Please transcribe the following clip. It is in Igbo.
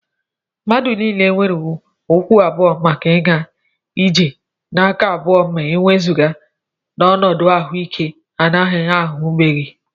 Mmadụ niile nwere ụkwụ abụọ maka ịga ije na aka abụọ ma e wezụga n'ọnọdụ ahụike ana-adịghị ahụkebe